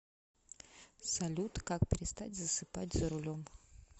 салют как перестать засыпать за рулем